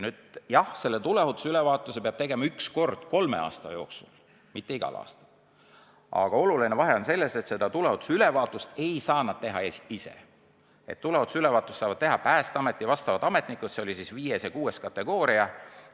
Jah, selle tuleohutusülevaatuse peab tegema üks kord kolme aasta jooksul, mitte igal aastal, aga oluline vahe on selles, et tuleohutusülevaatust ei saa nad teha ise, seda saavad teha Päästeameti ametnikud, kellel on 5. või 6. taseme kutsetunnistus.